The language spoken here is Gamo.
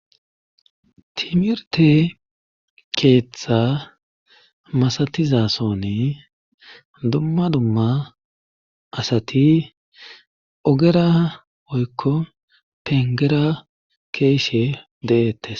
timirte keeththa masatizasoni dumma dumma asati ogera woyikko pengera keeshe deettes